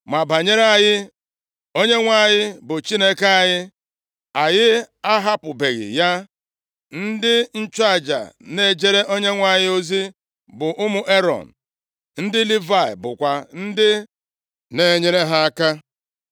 “Ma banyere anyị, Onyenwe anyị bụ Chineke anyị, anyị ahapụbeghị ya. Ndị nchụaja na-ejere Onyenwe anyị ozi bụ ụmụ Erọn, ndị Livayị bụkwa ndị na-enyere ha aka.